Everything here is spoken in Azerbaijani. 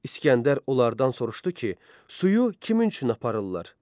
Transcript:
İsgəndər onlardan soruşdu ki, suyu kimin üçün aparırlar?